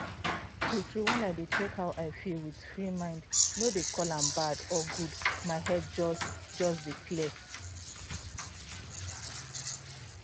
true true when i dey check how i feel with free mind no dey call am bad or good my head just just dey clear.